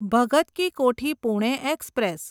Bhagat Ki Kothi Pune express